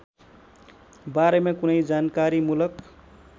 बारेमा कुनै जानकारीमूलक